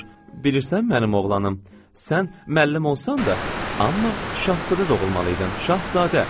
Bilirsən mənim oğlanım, sən müəllim olsan da, amma şahzadə doğulmalı idin, şahzadə.